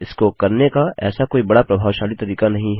इसको करने का ऐसा कोई बड़ा प्रभावशाली तरीका नहीं है